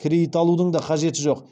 кредит алудың да қажеті жоқ